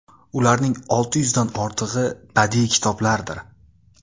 Ularning olti yuzdan ortig‘i badiiy kitoblardir.